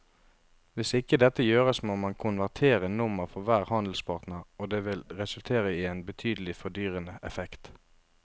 Hvis ikke dette gjøres må man konvertere nummer for hver handelspartner og det vil resultere i en betydelig fordyrende effekt.